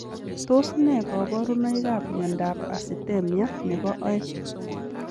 Tos nee kabarunoik ap miondoop asitemia nepoo oeng ?